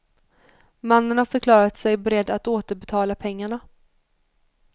Mannen har förklarat sig beredd att återbetala pengarna.